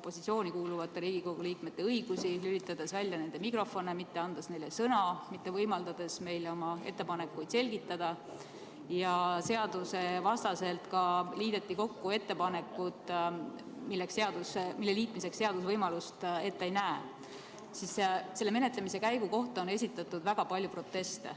opositsiooni kuuluvate Riigikogu liikmete õigusi, lülitades välja nende mikrofone, mitte andes neile sõna, mitte võimaldades neil oma ettepanekuid selgitada – ja seadusevastaselt liideti kokku ettepanekud, mille liitmiseks seadus võimalust ette ei näe, siis on selle menetlemise käigu kohta esitatud väga palju proteste.